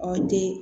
O tɛ